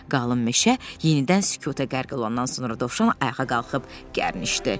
Qalın meşə yenidən sükuta qərq olandan sonra Dovşan ayağa qalxıb gərnişdi.